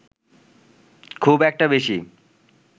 খুব একটা বেশি